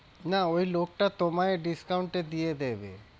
না ওই লোকটা তোমায় discount এ দিয়ে দেবে।